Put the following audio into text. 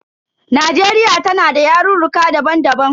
Najeriya tana da yarurruka daban daban.